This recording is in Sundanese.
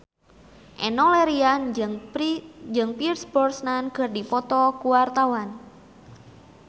Enno Lerian jeung Pierce Brosnan keur dipoto ku wartawan